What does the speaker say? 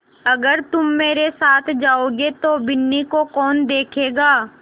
अगर तुम मेरे साथ जाओगे तो बिन्नी को कौन देखेगा